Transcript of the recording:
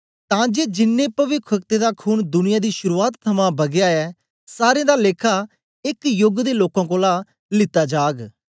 तांके जिन्नें पविखवक्तें दा खून दुनिया दी शुरुआत थमां बगया ऐ सारें दा लेखा एक योग दे लोकें कोलां लीता जाग